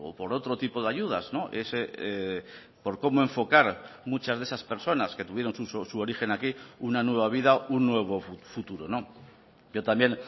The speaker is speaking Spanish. por otro tipo de ayudas por cómo enfocar muchas de esas personas que tuvieron su origen aquí una nueva vida un nuevo futuro pero también